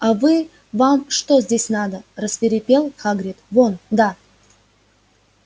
а вы вам что здесь надо рассвирепел хагрид вон да